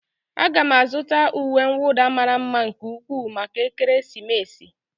Aga m azụta uwe nwụda mara mma nke ukwuu maka ekeresimesi